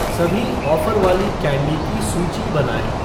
सभी ऑफ़र वाली कैंडी की सूची बनाऐं